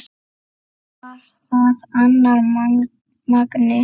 Var það annar Magni?